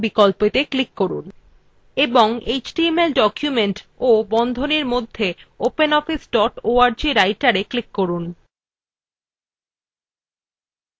এবার file type বিকল্পত়ে click করুন এবং html document বন্ধনীর মধ্যে openoffice dot org writer openএ click করুন